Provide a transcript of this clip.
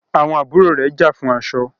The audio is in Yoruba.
àwọn àbúrò rẹ̀ já fún aṣọ.